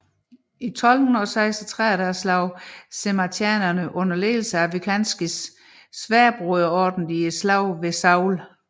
I 1236 slog žemaitijanerne under ledelse af Vykintas Sværdbroderordenen i slaget ved Saule